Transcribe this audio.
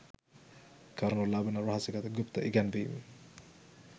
කරනු ලබන රහසිගත ගුප්ත ඉගැන්වීම්